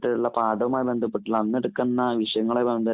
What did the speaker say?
ട്ടുള്ള, പാഠവുമായി ബന്ധപ്പെട്ടിട്ടുള്ള അന്ന് എടുക്കുന്ന വിഷയങ്ങളുമായി ബന്ധപ്പെട്ടി